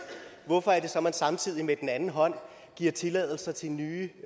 hvorfor er det så man samtidig med den anden hånd giver tilladelser til nye